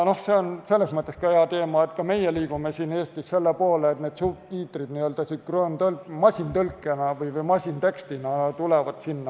See on selles mõttes hea teema, et ka meie liigume siin Eestis selle poole, et subtiitrid tulevad n-ö masintekstina.